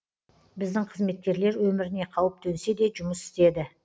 біздің қызметкерлер өміріне қауіп төнсе де жұмыс істеді